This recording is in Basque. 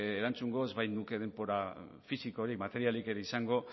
erantzungo ez bainuke denbora fisiko eta materialik ere izango